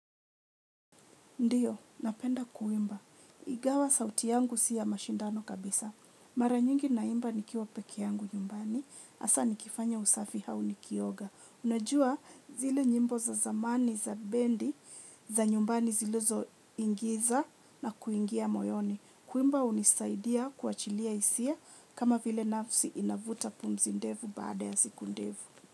Ndiyo, napenda kuimba. Igawa sauti yangu si ya mashindano kabisa. Mara nyingi naimba nikiwa pekee yangu nyumbani. Asa nikifanya usafi hau nikioga. Najua zile nyimbo za zamani za bendi za nyumbani zilizoingiza na kuingia moyoni. Kuimba unisaidia kuachilia isia kama vile nafsi inavuta pumzi ndevu baada ya siku ndevu.